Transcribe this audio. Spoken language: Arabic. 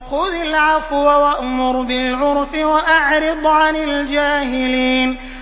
خُذِ الْعَفْوَ وَأْمُرْ بِالْعُرْفِ وَأَعْرِضْ عَنِ الْجَاهِلِينَ